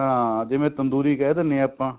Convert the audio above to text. ਹਾਂ ਜਿਵੇਂ ਤੰਦੂਰੀ ਕਹਿ ਦਿੰਦੇ ਹਾਂ ਆਪਾਂ